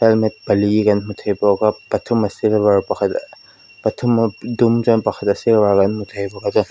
helmet pali kan hmu thei bawk a pathum a silver pakhat a pathum a dum chuan pakhat a silver kan hmu thei bawk a chuan--